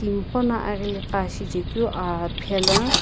timiqo na aghili qa aa shichekeu aa phela.